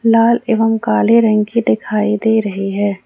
लाल एवं काले रंग की दिखाई दे रही है।